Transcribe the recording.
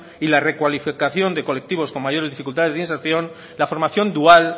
y la recualificación de colectivos con mayores dificultades de inserción la formación dual